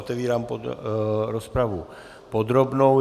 Otevírám rozpravu podrobnou.